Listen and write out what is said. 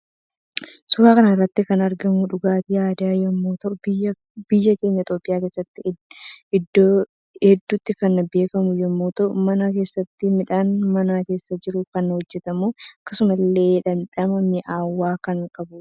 Suuraa kanarratti kan argamu dhugaatii aadaa yommuu ta'u biyya keenya itoophiya keessatti iddoo heddutti kan beekamu yommuu ta'uu mana keessaatti midhaan mana keessa jiruun kan hojjetamu akkasumas ille dhamdhama mi'aawaa kan qabudha